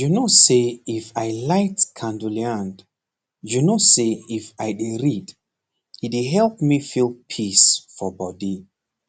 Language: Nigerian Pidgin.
you know say if i light candleand you know say if i dey read e dey help me feel peace for body